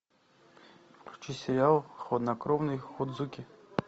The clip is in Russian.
включи сериал хладнокровный ходзуки